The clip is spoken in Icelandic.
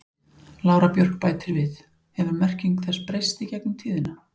Lára Björk bætir við: Hefur merking þess breyst í gegnum tíðina?